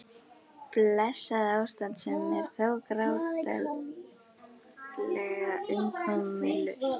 Blessað ástand sem er þó grátlega umkomulaust.